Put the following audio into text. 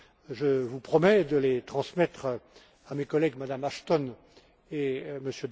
Je vous promets de les transmettre à mes collègues, Mme Ashton et